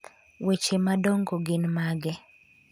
weche madongo gin mage?